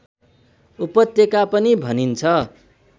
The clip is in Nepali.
उपत्यका पनि भनिन्छ